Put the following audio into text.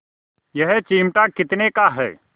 यह चिमटा कितने का है